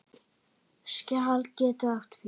Skjal getur átt við